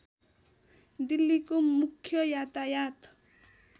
दिल्लीको मुख्य यातायात